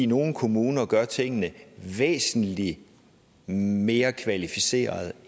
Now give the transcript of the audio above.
nogle kommuner gør tingene væsentlig mere kvalificeret